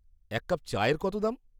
এক কাপ চায়ের কত দাম?